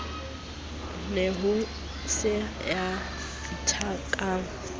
ne ho se ya ithekang